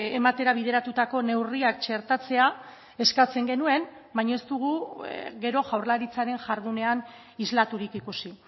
ematera bideratutako neurriak txertatzea eskatzen genuen baina ez dugu gero jaurlaritzaren jardunean islaturik ikusi